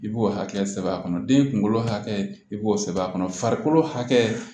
I b'o hakɛ sɛbɛ a kɔnɔ den kunkolo hakɛ i b'o sɛbɛn a kɔnɔ farikolo hakɛ